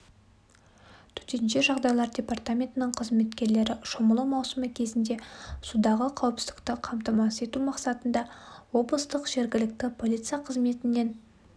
төтенше жағдайлар департаментінің қызметкерлері шомылу маусымы кезінде судағы қауіпсіздікті қамтамасыз ету мақсатында облыстық жергілікті полиция қызметімен